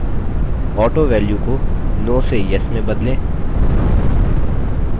autovalue को no से yes में बदलें